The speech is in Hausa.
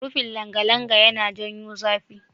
Rufin langalanga yana janyo zafi.